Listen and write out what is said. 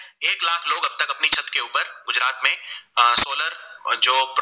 अ Solar और जो